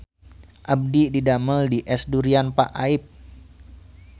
Abdi didamel di Es Durian Pak Aip